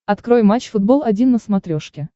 открой матч футбол один на смотрешке